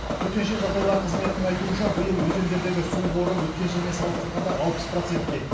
төтенше жағдайлар қызметінің айтуынша биыл өзендердегі су қоры өткен жылмен салыстырғанда алпыс процентке